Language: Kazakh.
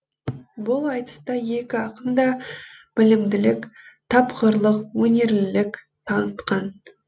бұл айтыста екі ақын да білімділік тапқырлық өнерлілік танытқан